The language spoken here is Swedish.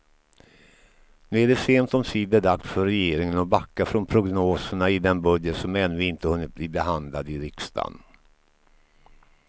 Nu är det sent omsider dags för regeringen att backa från prognoserna i den budget som ännu inte hunnit bli behandlad i riksdagen.